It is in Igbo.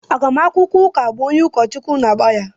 Agbamakwụkwọ ụka bụ onye ụkọchukwu na-agba ya.